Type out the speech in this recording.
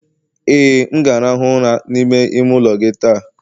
Ee, m ga-arahụ ụra n'ime ime ụlọ gị taa.